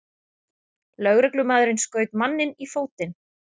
Lögreglumaðurinn skaut manninn í fótinn